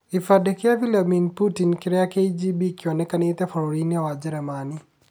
Kibandĩ kia Vladimir Putin kia KGB kĩonekanire bũrũri-inĩ wa Njĩrĩmani.